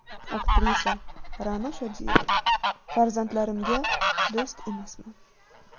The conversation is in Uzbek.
Aktrisa Ra’no Shodiyeva: Farzandlarimga do‘st emasman.